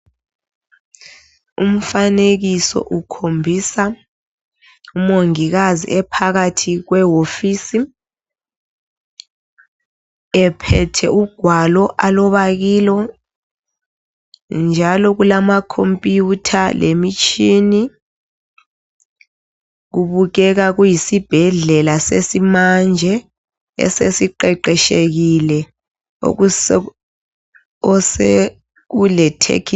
Umfanekiso ukhombisa umongikazi ephakathi kwewofisi, ephethe ugwalo aloba kilo, njalo kulamakhompuyutha lemitshina. Kubukeka kuyisibhuedlela sesimanje, esesiqeqeshekile osekulethekhinoloji.